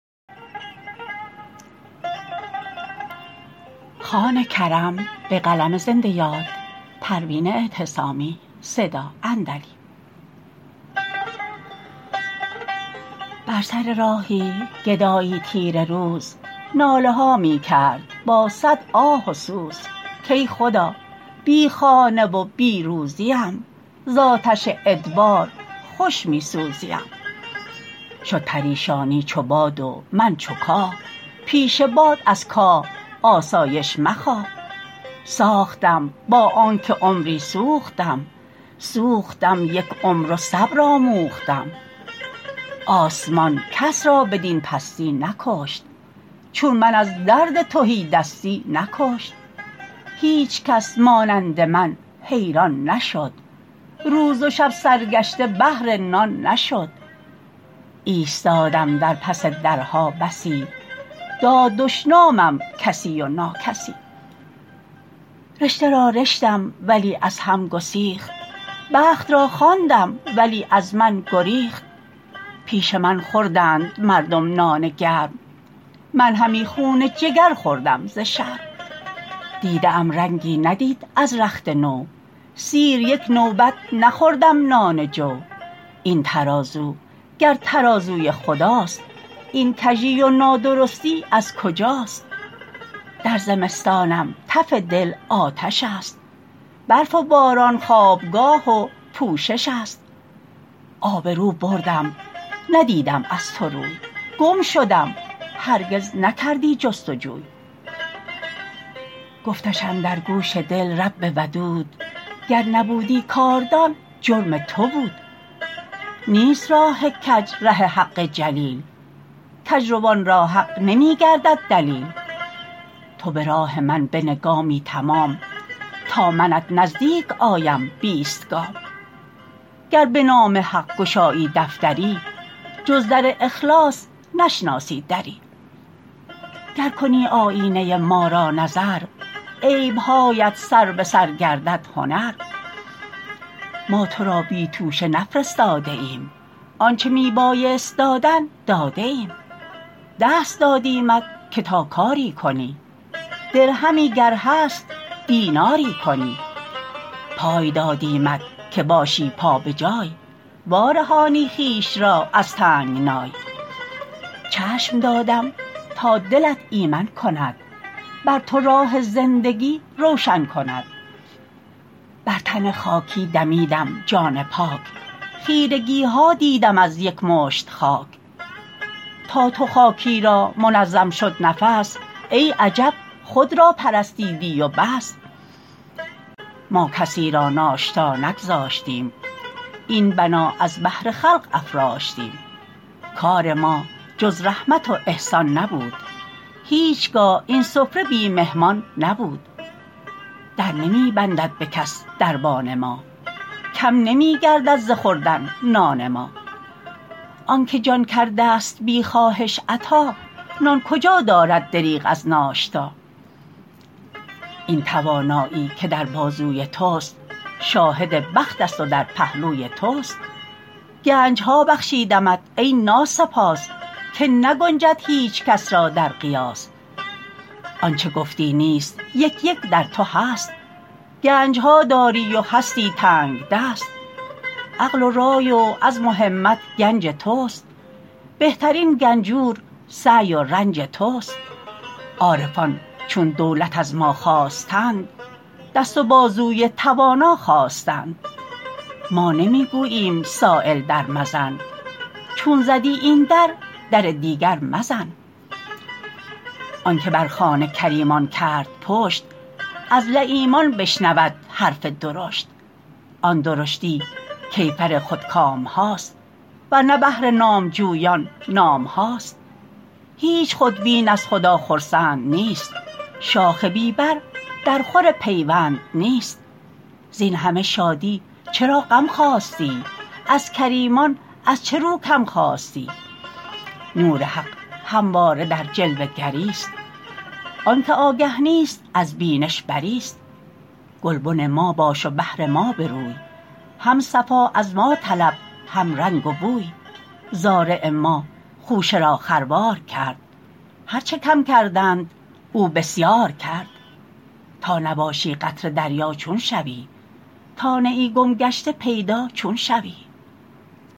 بر سر راهی گدایی تیره روز ناله ها میکرد با صد آه و سوز کای خدا بی خانه و بی روزیم ز آتش ادبار خوش میسوزیم شد پریشانی چو باد و من چو کاه پیش باد از کاه آسایش مخواه ساختم با آنکه عمری سوختم سوختم یک عمر و صبر آموختم آسمان کس را بدین پستی نکشت چون من از درد تهیدستی نکشت هیچکس مانند من حیران نشد روز و شب سرگشته بهر نان نشد ایستادم در پس درها بسی داد دشنامم کسی و ناکسی رشته را رشتم ولی از هم گسیخت بخت را خواندم ولی از من گریخت پیش من خوردند مردم نان گرم من همی خون جگر خوردم ز شرم دیده ام رنگی ندید از رخت نو سیر یک نوبت نخوردم نان جو این ترازو گر ترازوی خداست این کژی و نادرستی از کجاست در زمستانم تف دل آتش است برف و باران خوابگاه و پوشش است آبرو بردم ندیدم از تو روی گم شدم هرگز نکردی جستجوی گفتش اندر گوش دل رب ودود گر نبودی کاردان جرم تو بود نیست راه کج ره حق جلیل کجروان را حق نمیگردد دلیل تو براه من بنه گامی تمام تا منت نزدیک آیم بیست گام گر به نام حق گشایی دفتری جز در اخلاص نشناسی دری گر کنی آیینه ی ما را نظر عیبهایت سر بسر گردد هنر ما ترا بی توشه نفرستاده ایم آنچه می بایست دادن داده ایم دست دادیمت که تا کاری کنی درهمی گر هست دیناری کنی پای دادیمت که باشی پا بجای وارهانی خویش را از تنگنای چشم دادم تا دلت ایمن کند بر تو راه زندگی روشن کند بر تن خاکی دمیدم جان پاک خیرگیها دیدم از یک مشت خاک تا تو خاکی را منظم شد نفس ای عجب خود را پرستیدی و بس ما کسی را ناشتا نگذاشتیم این بنا از بهر خلق افراشتیم کار ما جز رحمت و احسان نبود هیچگاه این سفره بی مهمان نبود در نمی بندد بکس دربان ما کم نمیگردد ز خوردن نان ما آنکه جان کرده است بی خواهش عطا نان کجا دارد دریغ از ناشتا این توانایی که در بازوی تست شاهد بخت است و در پهلوی تست گنجها بخشیدمت ای ناسپاس که نگنجد هیچکس را در قیاس آنچه گفتی نیست یک یک در تو هست گنجها داری و هستی تنگدست عقل و رای و عزم و همت گنج تست بهترین گنجور سعی و رنج تست عارفان چون دولت از ما خواستند دست و بازوی توانا خواستند ما نمیگوییم سایل در مزن چون زدی این در در دیگر مزن آنکه بر خوان کریمان کرد پشت از لییمان بشنود حرف درشت آن درشتی کیفر خودکامهاست ورنه بهر نامجویان نامهاست هیچ خودبین از خدا خرسند نیست شاخ بی بر در خور پیوند نیست زین همه شادی چراغم خواستی از کریمان از چه رو کم خواستی نور حق همواره در جلوه گریست آنکه آگه نیست از بینش بریست گلبن ما باش و بهر ما بروی هم صفا از ما طلب هم رنگ و بوی زارع ما خوشه را خروار کرد هر چه کم کردند او بسیار کرد تا نباشی قطره دریا چون شوی تا نه ای گم گشته پیدا چون شوی